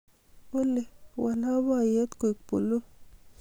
olly wal loboyet koik buluu